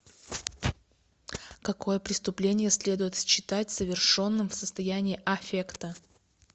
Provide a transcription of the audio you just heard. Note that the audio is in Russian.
какое преступление следует считать совершенным в состоянии аффекта